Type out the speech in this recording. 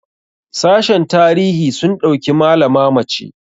sashen tarihi sun ɗauki malama mace